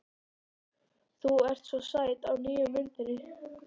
Þú ert svo sæt á nýju myndinni.